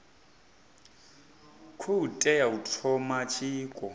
khou tea u thoma tshiko